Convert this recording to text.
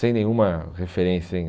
Sem nenhuma referência, hein?